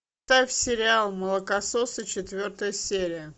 ставь сериал молокососы четвертая серия